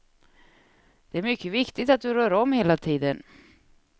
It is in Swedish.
Det är mycket viktigt att du rör om hela tiden.